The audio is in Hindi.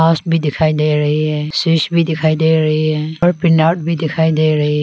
माउस भी दिखाई दे रही है स्विच भी दिखाई दे रही है और पिन आउट भी दिखाई दे रही--